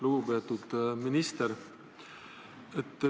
Lugupeetud minister!